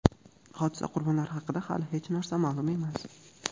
Hodisa qurbonlari haqida hali hech narsa ma’lum emas.